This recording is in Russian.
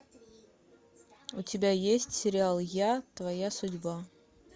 у тебя есть сериал я твоя судьба